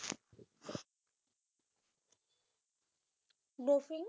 বেছি